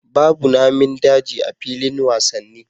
Babu Namin daji a filin wasanni